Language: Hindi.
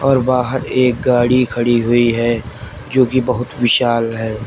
और बाहर एक गाड़ी खड़ी हुई है जो कि बहुत विशाल है।